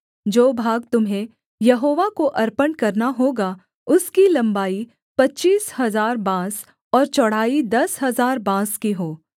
जो भाग तुम्हें यहोवा को अर्पण करना होगा उसकी लम्बाई पच्चीस हजार बाँस और चौड़ाई दस हजार बाँस की हो